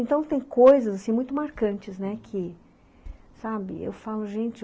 Então tem coisas assim muito marcantes, né, que sabe eu falo gente...